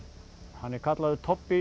hann er kallaður